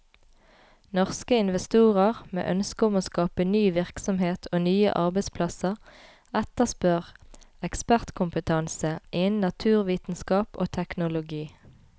Norske investorer, med ønske om å skape ny virksomhet og nye arbeidsplasser, etterspør ekspertkompetanse innen naturvitenskap og teknologi.